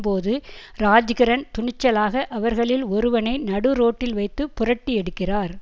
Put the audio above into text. போது ராஜ்கிரண் துணிச்சலாக அவர்களில் ஒருவனை நடுரோட்டில் வைத்து புரட்டி எடுக்கிறார்